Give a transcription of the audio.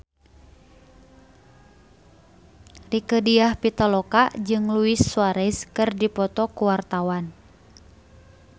Rieke Diah Pitaloka jeung Luis Suarez keur dipoto ku wartawan